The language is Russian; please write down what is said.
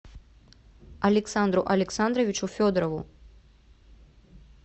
александру александровичу федорову